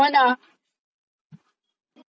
हम्म. अच्छा बाकी?